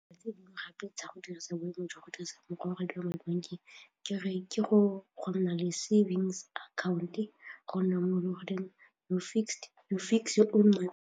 Tse dingwe gape tsa go dirisa boemo jwa go dirisa mokgwa wa madi bankeng ke go nna le savings account-e go nna mo e le gore you fix your own money.